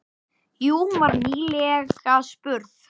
Jú, hún var nýlega spurð.